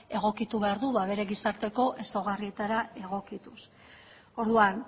egokitu behar du ba bere gizarteko ezaugarrietara egokituz orduan